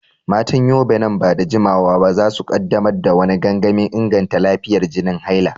Matan Yobe, nan ba da jimawa ba za su kaddamar da wani gangamin inganta lafiyar jinin haila.